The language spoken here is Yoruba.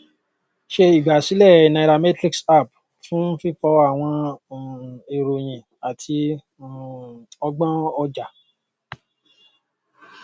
ṣe igbasilẹ nairametrics app fun fifọ awọn um iroyin ati um ọgbọn ọja